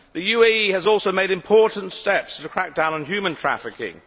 The UAE has also taken important steps to crack down on human trafficking.